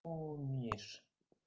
помнишь